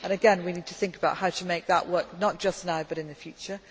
scrutiny. And again, we need to think about how to make that work, not just now